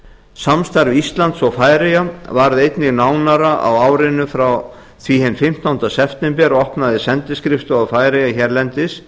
samstarf íslands og færeyja varð einnig nánara á árinu en fimmtánda september opnaði sendiskrifstofa færeyja hérlendis